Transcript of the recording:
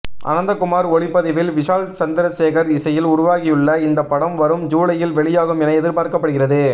அனந்தகுமார் ஒளிப்பதிவில் விஷால் சந்திரசேகர் இசையில் உருவாகியுள்ள இந்த படம் வரும் ஜூலையில் வெளியாகும் என எதிர்பார்க்கப்படுகிறது